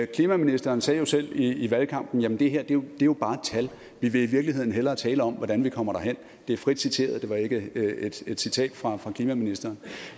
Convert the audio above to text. klimaministeren sagde jo selv i valgkampen at det her jo jo bare er et tal vi vil i virkeligheden hellere tale om hvordan vi kommer derhen det er frit citeret det var ikke et citat fra klimaministeren